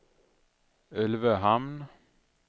Ulvöhamn